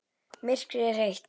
Myrkrið er heitt.